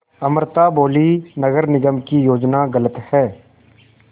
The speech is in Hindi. अमृता बोलीं नगर निगम की योजना गलत है